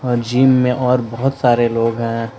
और जिम में और बहुत सारे लोग हैं।